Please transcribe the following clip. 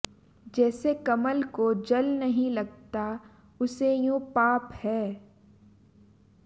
जैसे कमल को जल नहीं लगता उसे यों पाप है